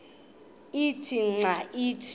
ithe xa ithi